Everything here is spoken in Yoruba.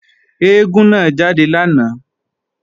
Eégún náà jáde lánàá